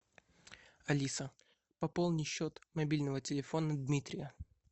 алиса пополни счет мобильного телефона дмитрия